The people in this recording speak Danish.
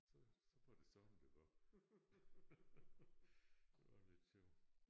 Så så var det sådan det var det var lidt sjovt